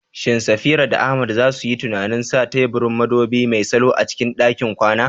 Shin Safira da Ahmad za su yi tunanin sa teburin madubi mai salo a cikin ɗakin kwana?